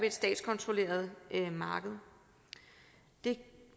et statskontrolleret marked det